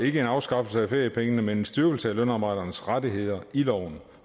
ikke en afskaffelse af feriepengene men en styrkelse af lønarbejdernes rettigheder i loven